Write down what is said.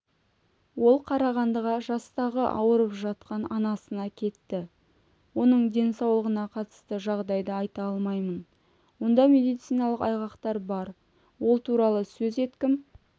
ол қарағандыға жастағы ауырып жатқан анасына кетті оның денсаулығына қатысты жағдайды айта алмаймын онда медициналық айғақтар бар ол туралы сөз еткім